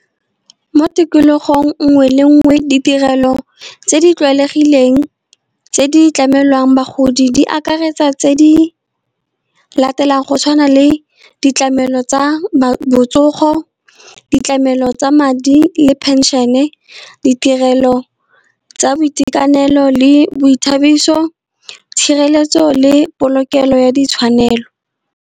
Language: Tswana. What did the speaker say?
Mo tikologong nngwe le nngwe ditirelo tse di tlwaelegileng tse di tlamelwang bagodi, di akaretsa tse di latelang. Go tshwana le ditlamelo tsa botsogo ditlamelo tsa madi le phenšene, ditirelo tsa boitekanelo le boithabiso, tshireletso le polokelo ya ditshwanelo.